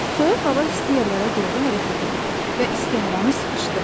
Soyuq hava isti yerlərə doğru hərəkət edir və isti havanı sıxışdırır.